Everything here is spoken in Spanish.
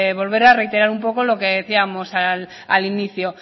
volver a reiterar un poco lo que decíamos al inicio